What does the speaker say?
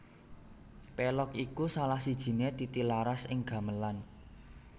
Pélog iku salah sijiné titilaras ing gamelan